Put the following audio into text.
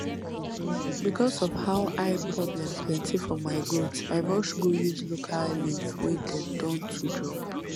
because of how eye problem plenty for my goat i rush go use local leaf wey dem don to drop